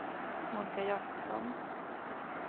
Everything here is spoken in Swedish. Monika Jakobsson